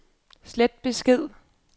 slet besked